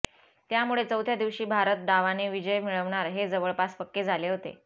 त्यामुळे चौथ्या दिवशी भारत डावाने विजय मिळवणार हे जवळपास पक्के झाले होते